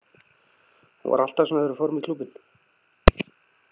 Hún var alltaf svona þegar við fórum í klúbbinn.